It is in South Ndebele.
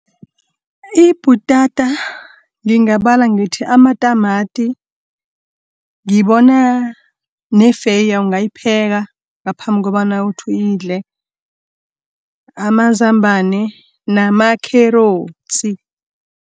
Ibhutata, ngingabala ngithi amatamati, ngibona nefeya ungayipheka ngaphambi kobana uthi uyidle, amazambane nama makherotsi.